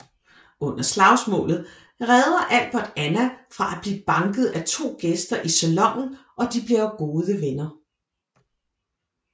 Under slagsmålet redder Albert Anna fra at blive banket af to gæster i salonen og de bliver gode venner